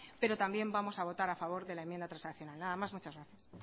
pero también vamos a votar a favor de la enmienda transaccional nada más muchas gracias